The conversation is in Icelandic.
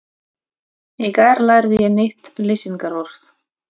Í gær lærði ég nýtt lýsingarorð.